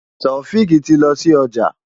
Taofiq tí lọ sí ọjà.